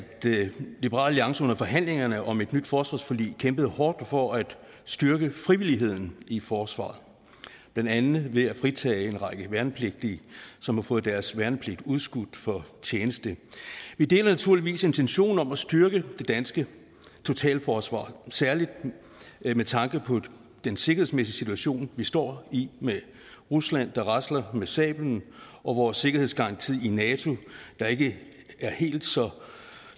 liberal alliance under forhandlingerne om et nyt forsvarsforlig kæmpede hårdt for at styrke frivilligheden i forsvaret blandt andet ved at fritage en række værnepligtige som har fået deres værnepligt udskudt for tjeneste vi deler naturligvis intentionen om at styrke det danske totalforsvar særlig med tanke på den sikkerhedsmæssige situation vi står i med rusland der rasler med sablen og vores sikkerhedsgaranti i nato der ikke er helt så